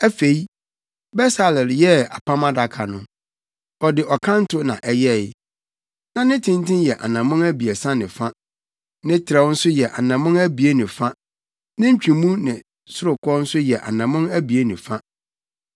Afei, Besaleel yɛɛ Apam Adaka no. Ɔde ɔkanto na ɛyɛe. Na ne tenten yɛ anammɔn abiɛsa ne fa, ne trɛw nso yɛ anammɔn abien ne fa ne ntwemu ne sorokɔ nso yɛ anammɔn abien ne fa.